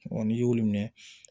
n'i y'olu minɛ